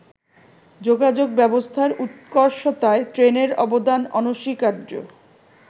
যোগাযোগ ব্যবস্থার উৎকর্ষতায় ট্রেনের অবদান অনস্বীকার্য।